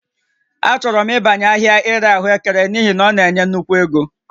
Achọrọ m ịbanye ahịa ịre ahụekere n'ihi na ọ na-enye nnukwu ego